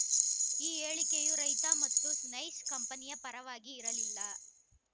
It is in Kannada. ಈ ಹೇಳಿಕೆಯು ರೈತ ಮತ್ತು ನೈಸ್ ಕಂಪನಿಯ ಪರವಾಗಿ ಇರಲಿಲ್ಲ